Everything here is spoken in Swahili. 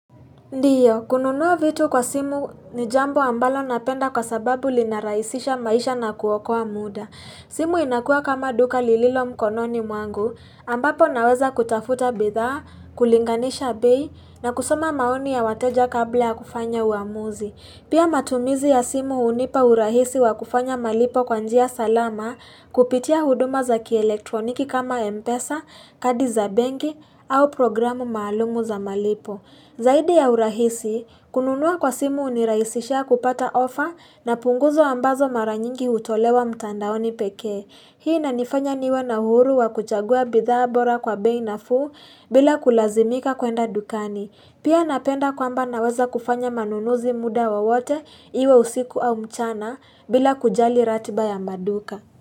Ndiyo, kununua vitu kwa simu ni jambo ambalo napenda kwa sababu linarahisisha maisha na kuokoa muda. Simu inakuwa kama duka lililo mkononi mwangu ambapo naweza kutafuta bidhaa, kulinganisha bei na kusoma maoni ya wateja kabla ya kufanya uamuzi. Pia matumizi ya simu hunipa urahisi wa kufanya malipo kwa njia salama kupitia huduma za kielektroniki kama Mpesa, kadi za benki au programu maalumu za malipo. Zaidi ya urahisi, kununua kwa simu huniraisisha kupata ofa na punguzo ambazo mara nyingi hutolewa mtandaoni pekee. Hii inanifanya niwe na uhuru wa kuchagua bidhaa bora kwa bei nafuu bila kulazimika kuenda dukani. Pia napenda kwamba naweza kufanya manunuzi muda wowote iwe usiku au mchana bila kujali ratiba ya maduka.